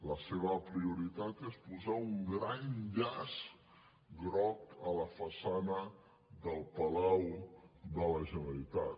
la seva prioritat és posar un gran llaç groc a la façana del palau de la generalitat